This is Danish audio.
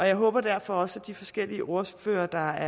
jeg håber derfor også at de forskellige ordførere der